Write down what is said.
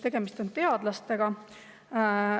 Tegemist on teadlastega.